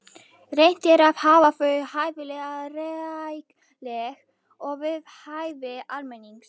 Reynt er að hafa þau hæfilega rækileg og við hæfi almennings.